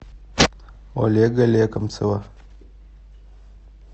олега лекомцева